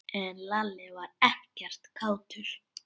En Lalli var ekkert kátur.